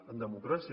en democràcia